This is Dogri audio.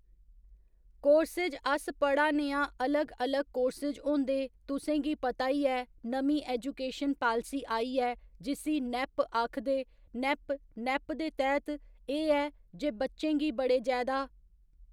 कोर्सेज अस पढ़ा नेआं अलग अलग कोर्सेज होंदे तुसेंगी पता ई ऐ नमीं ऐजूकेशन पालिसी आई ऐ जिस्सी नैप्प आक्खदे नैप्प नैप्प दे तैह्त एह् ऐ जे बच्चें गी बड़े जैदा